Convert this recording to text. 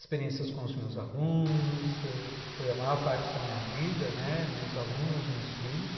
Experiências com os meus alunos ãh, que foi a maior parte da minha vida, meus alunos, meus filhos.